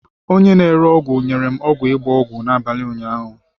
Onye na-ere ọgwụ nyere m ọgwụ ịgba ọgwụ n'abalị ụnyaahụ.